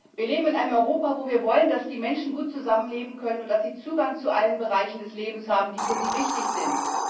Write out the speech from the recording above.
Wir leben in einem Europa, in dem wir wollen, dass die Menschen gut zusammenleben können und dass sie Zugang zu allen Bereichen des Lebens haben, die für sie wichtig sind.